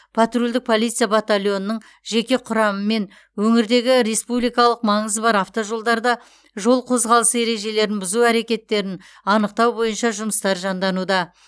патрульдік полиция батальонының жеке құрамымен өңірдегі республикалық маңызы бар автожолдарда жол қозғалысы ережелерін бұзу әрекеттерін анықтау бойынша жұмыстар жандануда